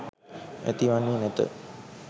ඇති වන්නේ නැත.